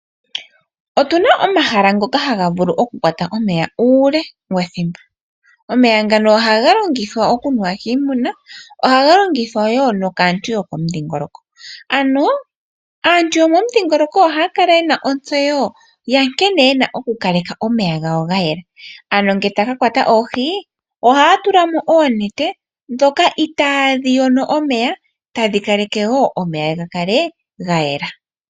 Otuna omahala ngono haga vulu kukwata omeya uule wethimbo. Omeya ngano ohaga nuwa kiimuna nokulongithwa kaantu yo momudhingoloko. Aantu yo momidhingoloko ohaya kala yena ontseyo ya nkene yena oku kaleka omeya gawo gayela. Ngele taya kakwata oohi ohaya tulamo onete ndjoka yayela tayi ningi omeya ga kale gayela.